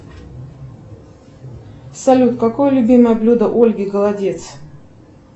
салют какое любимое блюдо ольги голодец